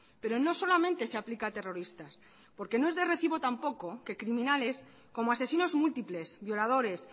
pero no solamente se aplica a terroristas porque no es de recibo tampoco que criminales como asesinos múltiples violadores